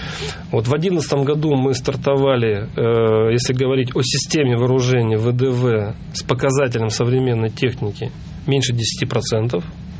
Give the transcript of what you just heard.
вот в одиннадцатом году мы стартовали ээ если говорить о системе вооружении вдв с показателем современной техники меньше десяти процентов